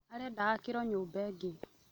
Arenda aakĩrwo nyũmba ĩngĩ